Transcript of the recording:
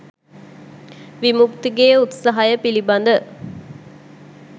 විමුක්තිගේ උත්සහය පිළිබඳ